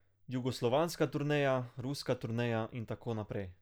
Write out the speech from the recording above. Jugoslovanska turneja, ruska turneja in tako naprej.